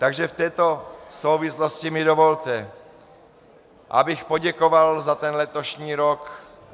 Takže v této souvislosti mi dovolte, abych poděkoval za ten letošní rok.